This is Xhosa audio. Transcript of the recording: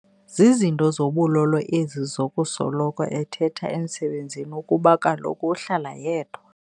Zizinto zobulolo ezi zokusoloko ethetha emsebenzini ukuba kaloku uhlala yedwa.